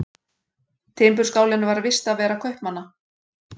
Timburskálinn var vistarvera kaupmanna.